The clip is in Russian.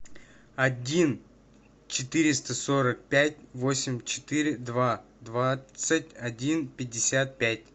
один четыреста сорок пять восемь четыре два двадцать один пятьдесят пять